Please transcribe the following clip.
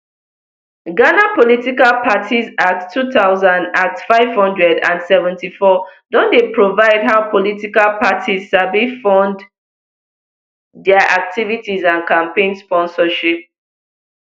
ghana political parties act two thousand act five hundred and seventy-four don dey provide how political parties sabi fund dia activities and campaign sponsorship